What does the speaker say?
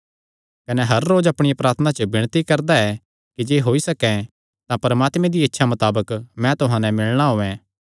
कने हर रोज अपणियां प्रार्थनां च विणती करदा ऐ कि जे होई सकैं तां परमात्मे दिया इच्छा मताबक मैं तुहां नैं मिलणा औयें